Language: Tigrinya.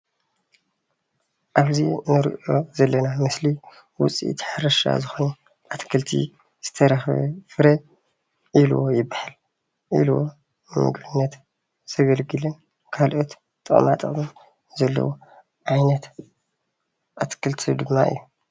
ኣብዚ እንሪኦ ዘለና ምስሊ ውፅኢት ሕርሻን ዝኮነ ኣትክልትን ዝተረከበ ፍረ ዒልቦ ይባሃል፡፡ ዒልቦ ንምግብነት ዘገልግልን ንካልኦት ጥቅማ ጥቅሚ ዘለዎ ዓይነት ኣትክልቲ ድማ እዩ፡፡